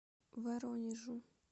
воронежу